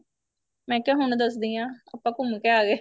ਮੈਂ ਕਿਹਾ ਹੁਣ ਦੱਸਦੀ ਆ ਆਪਾਂ ਘੁੰਮ ਕੇ ਆ ਗਏ